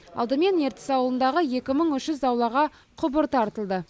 алдымен ертіс ауылындағы екі мың үш жүз аулаға құбыр тартылды